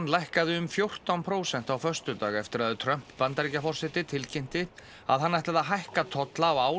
lækkaði um fjórtán prósent á föstudag eftir að Trump Bandaríkjaforseti tilkynnti að hann ætlaði að hækka tolla á ál